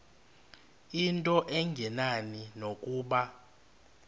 into engenani nokuba